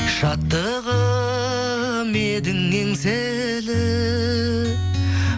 шаттығым едің еңселі